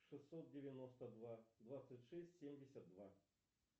шестьсот девяносто два двадцать шесть семьдесят два